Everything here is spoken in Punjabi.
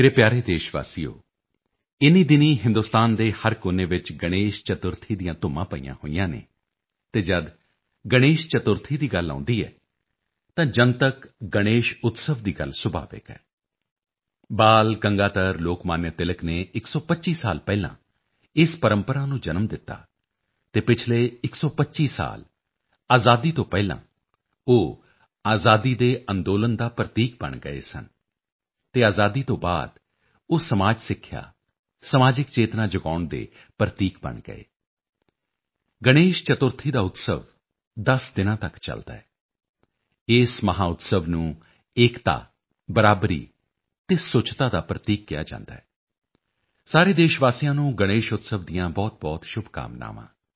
ਮੇਰੇ ਪਿਆਰੇ ਦੇਸ਼ ਵਾਸੀਓ ਇਨ੍ਹੀਂ ਦਿਨੀਂ ਹਿੰਦੁਸਤਾਨ ਦੇ ਹਰ ਕੋਨੇ ਵਿੱਚ ਗਣੇਸ਼ ਚਤੁਰਥੀ ਦੀਆਂ ਧੁੰਮਾਂ ਪਈਆਂ ਹੋਈਆਂ ਹਨ ਅਤੇ ਜਦ ਗਣੇਸ਼ ਚਤੁਰਥੀ ਦੀ ਗੱਲ ਆਉਦੀ ਹੈ ਤਾਂ ਜਨਤਕ ਗਣੇਸ਼ ਉਤਸਵ ਦੀ ਗੱਲ ਸੁਭਾਵਿਕ ਹੈ ਬਾਲ ਗੰਗਾਧਰ ਲੋਕਮਾਨਯ ਤਿਲਕ ਨੇ 125 ਸਾਲ ਪਹਿਲਾਂ ਇਸ ਪ੍ਰੰਪਰਾ ਨੂੰ ਜਨਮ ਦਿੱਤਾ ਅਤੇ ਪਿਛਲੇ 125 ਸਾਲ ਆਜ਼ਾਦੀ ਤੋਂ ਪਹਿਲਾਂ ਉਹ ਆਜ਼ਾਦੀ ਦੇ ਅੰਦੋਲਨ ਦਾ ਪ੍ਰਤੀਕ ਬਣ ਗਏ ਸਨ ਅਤੇ ਆਜਾਦੀ ਤੋਂ ਬਾਅਦ ਉਹ ਸਮਾਜ ਸਿੱਖਿਆ ਸਮਾਜਿਕ ਚੇਤਨਾ ਜਗਾਉਣ ਦੇ ਪ੍ਰਤੀਕ ਬਣ ਗਏ ਗਣੇਸ਼ ਚਤੁਰਥੀ ਦਾ ਉਤਸਵ 10 ਦਿਨਾਂ ਤੱਕ ਚੱਲਦਾ ਹੈ ਇਸ ਮਹਾਉਤਸਵ ਨੂੰ ਏਕਤਾ ਬਰਾਬਰੀ ਤੇ ਸੁੱਚਤਾ ਦਾ ਪ੍ਰਤੀਕ ਕਿਹਾ ਜਾਂਦਾ ਹੈ ਸਾਰੇ ਦੇਸ਼ ਵਾਸੀਆਂ ਨੂੰ ਗਣੇਸ਼ ਉਤਸਵ ਦੀਆਂ ਬਹੁਤਬਹੁਤ ਸ਼ੁਭਕਾਮਨਾਵਾਂ